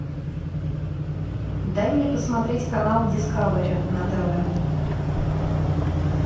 дай мне посмотреть канал дискавери на тв